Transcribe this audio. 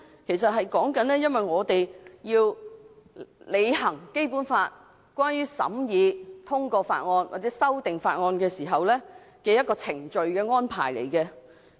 其實那是我們在履行《基本法》規定職能，在審議法案或修訂法案時的一個程序安排。